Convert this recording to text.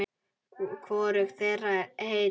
Hvorug þeirra er heil.